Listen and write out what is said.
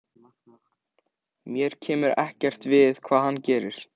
Mér kemur ekkert við hvað hann gerir.